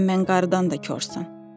Sən mən qarından da korsan.